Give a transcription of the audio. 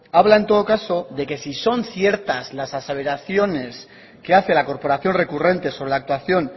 habla en todo caso de que si son ciertas las aseveraciones que hace la corporación recurrente sobre la actuación